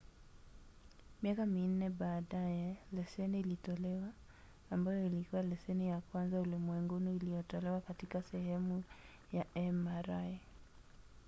miaka minne baadaye leseni ilitolewa ambayo ilikuwa leseni ya kwanza ulimwenguni iliyotolewa katika sehemu ya mri